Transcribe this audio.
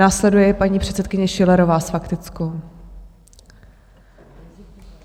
Následuje paní předsedkyně Schillerová s faktickou.